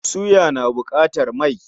Suya na buƙatar mai.